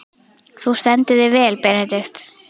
Þú stendur þig vel, Benedikt!